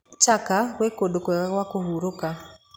Chaka gwĩ kũndũ kwega gwa kũhurũka.